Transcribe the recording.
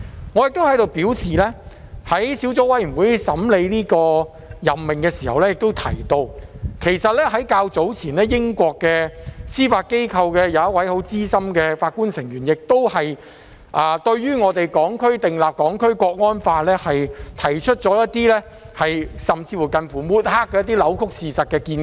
我想在此表示，我在資深司法任命建議小組委員會審議這項任命時提到，較早前英國的司法機構有一位資深法官對我們訂立《香港國安法》，提出一些近乎抹黑的扭曲事實的見解。